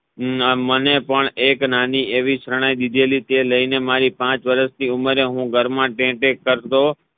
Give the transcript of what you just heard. ને મને પણ એક નાની એવી શરણાઈ દીધેલી હતી તે લઈને મારી પાચ વરાશની ઉમરે હું ઘરમા ઢે ઢે કરતો